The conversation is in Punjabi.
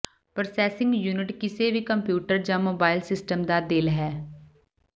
ਪ੍ਰੋਸੈਸਿੰਗ ਯੂਨਿਟ ਕਿਸੇ ਵੀ ਕੰਪਿਊਟਰ ਜ ਮੋਬਾਈਲ ਸਿਸਟਮ ਦਾ ਦਿਲ ਹੈ